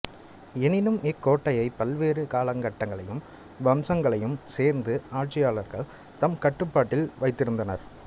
எனினும் இக்கோட்டையைப் பல்வேறு காலகட்டங்களையும் வம்சங்களையும் சேர்ந்த ஆட்சியாளர்கள் தம் கட்டுப்பாட்டில் வைத்திருந்தனர்